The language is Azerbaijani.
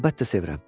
Əlbəttə sevirəm.